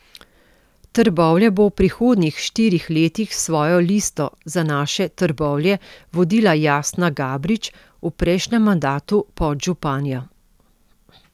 Trbovlje bo v prihodnjih štirih letih s svojo Listo za naše Trbovlje vodila Jasna Gabrič, v prejšnjem mandatu podžupanja.